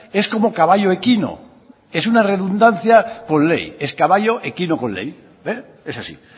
es como caballo equino es una redundancia con ley es caballo equino con ley es así